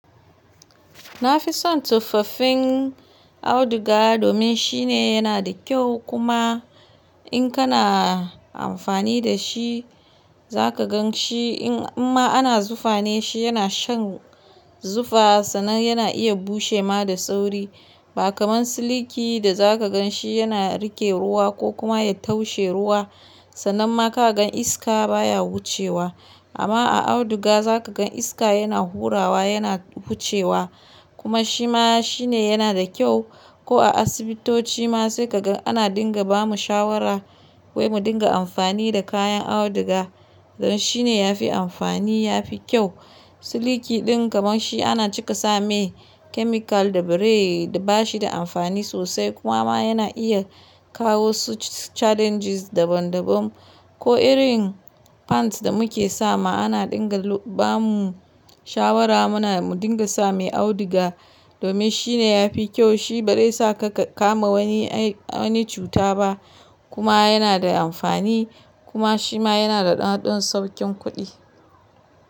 Na fi son tuffafin auduga domin shine yana da kyau kuma in kana amfani da shi za ka gan shi. In ma ana zufa ne, shi yana shan zufa sannan yana iya bushe ma da sauri. Ba kamar siliki da za ka gan shi yana rike ruwa ko kuma ya taushe ruwa. Sannan ma ka gan iska baya wucewa. Amma a auduga za ka gan iska yana hurawa, yana wucewa kuma shi ma shine yana da kyau. Ko a asibitoci ma sai ka ga ana dinga ba mu shawara wai mu dinga amfani da kayan auduga. Don shi ne ya fi amfani, ya fi kyau. Siliki din kamar shi ana cika sa mai kemikal da bere bashi da amfani sosai kuma ma yana iya kawo su challenges daban daban. Ko irin pants da muke sama ana dinga lo-ba mu shawara muna mu dinga sa mai auduga. Domin shine yafi kyau, shi ba dai sa ka kama wani ai-wani cuta ba kuma yana da amfani kuma shi ma yana da haduwar saukin kuɗi.